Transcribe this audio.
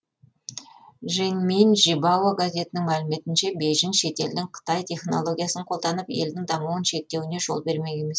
жэньминь жибао газетінің мәліметінше бейжің шетелдің қытай технологиясын қолданып елдің дамуын шектеуіне жол бермек емес